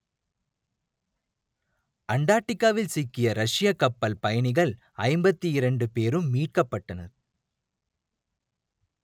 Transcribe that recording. அண்டார்க்டிக்காவில் சிக்கிய ரஷ்யக் கப்பல் பயணிகள் ஐம்பத்தி இரண்டு பேரும் மீட்கப்பட்டனர்